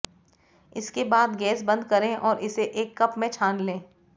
इसके बाद गैस बंद करें और इसे एक कप में छान लें